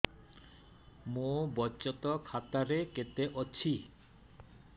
ମୋ ବଚତ ଖାତା ରେ କେତେ ଅଛି